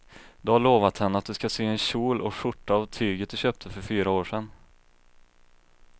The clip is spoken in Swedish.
Du har lovat henne att du ska sy en kjol och skjorta av tyget du köpte för fyra år sedan.